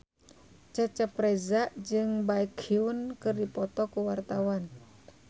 Cecep Reza jeung Baekhyun keur dipoto ku wartawan